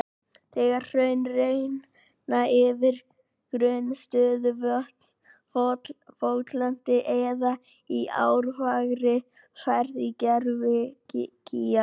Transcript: Þegar hraun renna yfir grunn stöðuvötn, votlendi eða í árfarvegi verða til gervigígar.